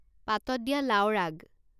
পাতত দিয়া লাওৰ আগ